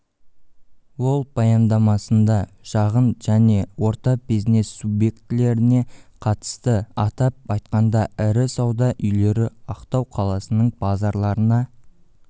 ол баяндамасында шағын және орта бизнес субъектілеріне қатысты атап айтқанда ірі сауда үйлері ақтау қаласының базарларына